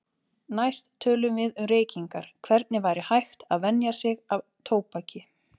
Næst tölum við um reykingar, hvernig væri hægt að venja sig af tóbaki.